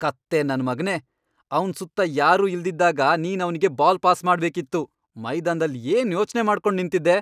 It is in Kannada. ಕತ್ತೆ ನನ್ಮಗ್ನೇ.. ಅವ್ನ್ ಸುತ್ತ ಯಾರೂ ಇಲ್ದಿದ್ದಾಗ ನೀನ್ ಅವ್ನಿಗೆ ಬಾಲ್ ಪಾಸ್ ಮಾಡ್ಬೇಕಿತ್ತು. ಮೈದಾನ್ದಲ್ಲಿ ಏನ್ ಯೋಚ್ನೆ ಮಾಡ್ಕೊಂಡ್ ನಿಂತಿದ್ದೆ?